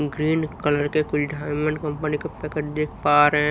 green colour के कुछ diamond company का पैकेट देख पा रहे--